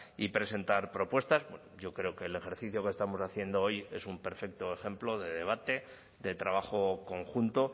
y presentar propuestas yo creo que el ejercicio que estamos haciendo hoy es un perfecto ejemplo de debate de trabajo conjunto